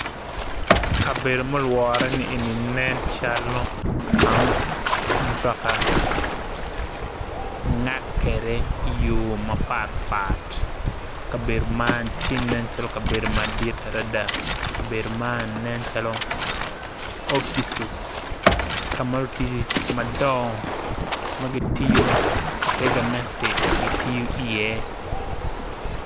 Kabedo ma olwore ni nen calo kama mutoka ngak kede i yor mapat pat kabedo man tye nen calo kabedo madit adada, kabedo man nen calo ofises kama ludito madongo gitiyo i ter gamente tiyo i ye.